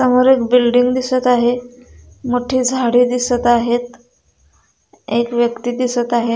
समोर एक बिल्डिंग दिसत आहे मोठी झाडे दिसत आहेत एक व्यक्ति दिसत आहे.